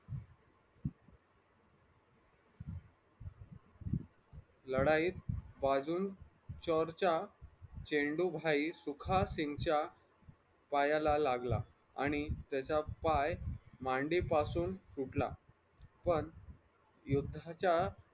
लढाईत बाजून चौर च्या चेंडू भाई सुखासिन्ग च्या पायाला लागला आणि त्याचा पाय मांडीपासून तुटला पण युद्धाच्या